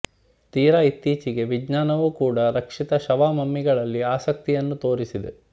ತೀರ ಇತ್ತೀಚೆಗೆ ವಿಜ್ಞಾನವು ಕೂಡಾ ರಕ್ಷಿತ ಶವಮಮ್ಮಿಗಳಲ್ಲಿ ಆಸಕ್ತಿಯನ್ನು ತೋರಿಸಿದೆ